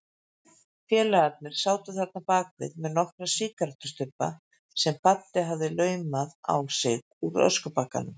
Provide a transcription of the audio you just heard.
Félagarnir sátu þarna bakvið með nokkra sígarettustubba sem Baddi hafði laumað á sig úr öskubökkum.